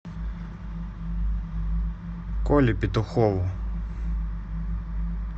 коле петухову